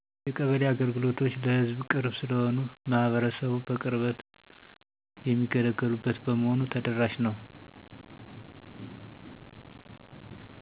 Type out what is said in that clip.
የቀበሌ አገልግሎቶች ለሕዝብ ቅርብ ስለሆኑ ማህበረሰቡ በቅርበት የሚገለገሉበት በመሆኑ ተደራሽ ነው።